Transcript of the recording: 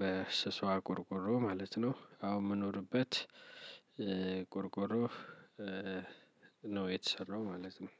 በስሷ ቆርቆሮ ማለት ነው። አሁን የምኖርበት ቆርቆሮ ነው የተሰራው ማለት ነው።